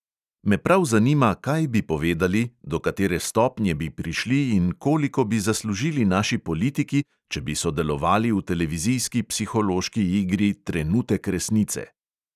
Me prav zanima, kaj bi povedali, do katere stopnje bi prišli in koliko bi zaslužili naši politiki, če bi sodelovali v televizijski psihološki igri trenutek resnice.